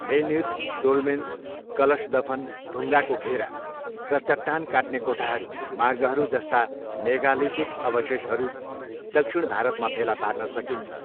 Menhir, dolmens, कलश दफन, ढुङ्गाको घेरा र चट्टान काट्ने कोठाहरू, मार्गहरू जस्ता मेगालिथिक अवशेषहरू दक्षिण भारतमा फेला पार्न सकिन्छ।